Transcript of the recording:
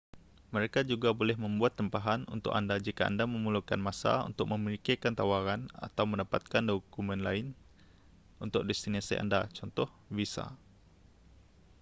mereka juga boleh membuat tempahan untuk anda jika anda memerlukan masa untuk memikirkan tawaran atau mendapatkan dokumen lain untuk destinasi anda cth. visa